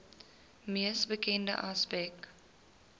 mees bekende aspek